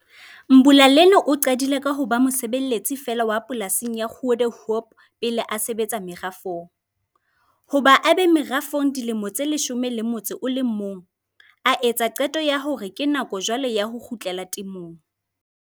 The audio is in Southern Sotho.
Mbulaleni o qadile ka ho ba mosebeletsi feela wa polasing ya Goedehoop pele a sebetsa merafong. Hoba a be merafong dilemo tse 11, a etsa qeto ya hore ke nako jwale ya ho kgutlela temong.